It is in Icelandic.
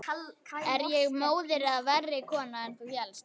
Er ég móðir eða verri kona en þú hélst?